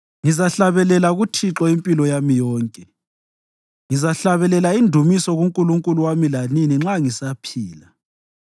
Ngizahlabelela kuThixo impilo yami yonke; ngizahlabelela indumiso kuNkulunkulu wami lanini nxa ngisaphila.